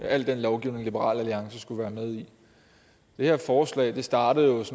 al den lovgivning liberal alliance skulle være med i det her forslag startede